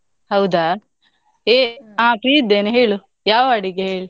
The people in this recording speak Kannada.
ಹೌದಾ ಹೇ ಹಾ free ಇದ್ದೇನೆ ಹೇಳು ಯಾವ ಅಡಿಗೆ ಹೇಳ್?